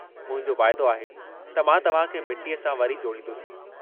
मुंहिंजो वाइदो आहे त मां तव्हां खे मिट्टीअ सां वरी जोड़ींदुसि।